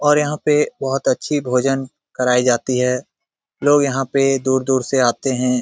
और यहाँ पे बोहोत अच्छी भोजन कराई जाती है। लोग यहाँ पे दूर-दूर से आते हैं।